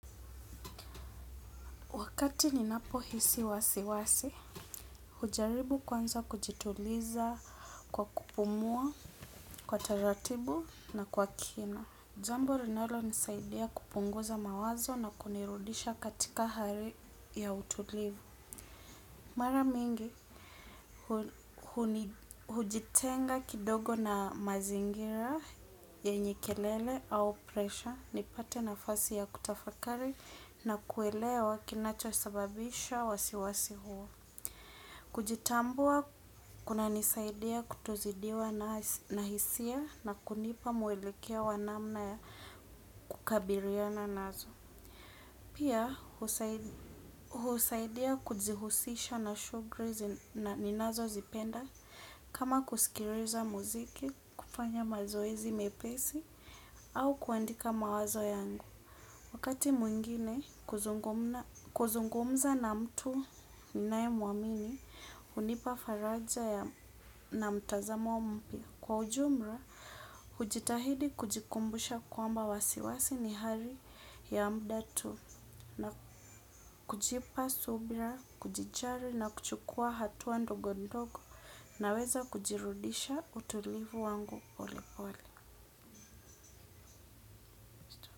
Wakati ninapohisi wasiwasi, hujaribu kwanza kujituliza kwa kupumua, kwa taratibu na kwa kina. Jambo linalonisaidia kupunguza mawazo na kunirudisha katika hali ya utulivu. Mara mingi, hujitenga kidogo na mazingira yenye kelele au pressure nipate nafasi ya kutafakari na kuelewa kinachosababisha wasiwasi huo. Kujitambua, kunanisaidia kutozidiwa na hisia na kunipa mwelekeo wa namna ya kukabiliana nazo. Pia husaidia kujihusisha na shughuli ninazozipenda kama kusikiliza muziki, kufanya mazoezi mepesi au kuandika mawazo yangu. Wakati mwingine kuzungumza na mtu ninaemwamini hunipa faraja na mtazamo mpya. Kwa ujumla, hujitahidi kujikumbusha kwamba wasiwasi ni hali ya muda tu na kujipa subira, kujijali na kuchukua hatua ndogo ndogo naweza kujirudisha utulivu wangu polepole.